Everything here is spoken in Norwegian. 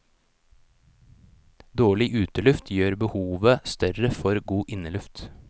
Dårlig uteluft gjør behovet større for god inneluft.